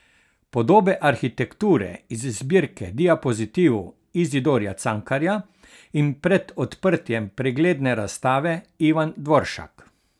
Podobe arhitekture iz zbirke diapozitivov Izidorja Cankarja in pred odprtjem pregledne razstave Ivan Dvoršak.